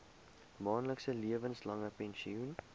maandelikse lewenslange pensioen